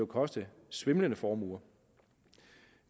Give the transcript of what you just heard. koste svimlende formuer